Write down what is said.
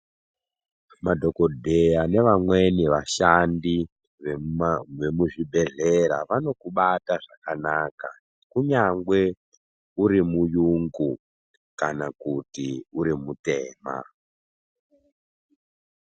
Madhokodheya nevamweni vashandi vemuzvibhedhlera vanokubata zvakanaka kunyange uri murungu kana kuti uri mutema.